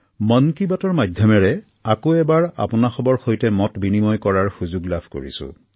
মন কী বাতৰ জৰিয়তে আপোনালোকৰ সৈতে পুনৰ মতবিনিময়ৰ সুযোগ লাভ কৰিছো